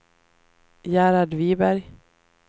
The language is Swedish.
Gerhard Viberg